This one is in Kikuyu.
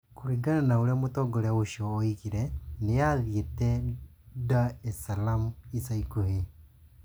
Kũringana na ũrĩa mũtongoria ũcio oigire, nĩ aathiĩte Dar es Salaam ica ikuhĩ.